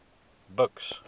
buks